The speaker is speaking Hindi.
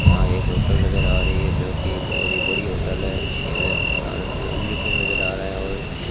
यहां एक होटल नजर आ रही है जो की बहोत बड़ी होटल है इसके अंदर खाना नजर आ रहा है और --